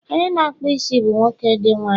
onye na-akpụ isi bụ nwoke dị nwayọọ